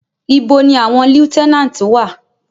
Ibo ni àwọn lieutenant wà?